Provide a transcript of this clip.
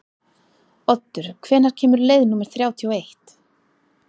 Oddur, hvenær kemur leið númer þrjátíu og eitt?